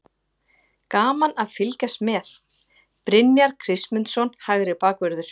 Gaman að fylgjast með: Brynjar Kristmundsson, hægri bakvörður.